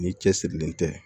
Ni cɛsirilen tɛ